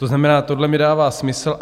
To znamená, tohle mi dává smysl.